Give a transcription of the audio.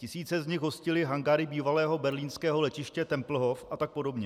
Tisíce z nich hostily hangáry bývalého berlínského letiště Tempelhof a tak podobně.